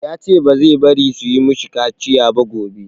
Ya ce ba zai bari su yi ma shi kaciya ba gobe.